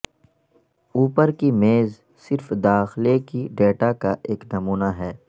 اوپر کی میز صرف داخلہ کے ڈیٹا کا ایک نمونے ہے